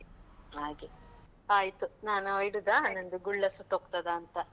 ಹಾಗೆ, ಆಯ್ತು ನಾನು ಇಡುದ, ನಂದು ಗುಳ್ಳ ಸುಟ್ಟೋಗ್ತದಂತ.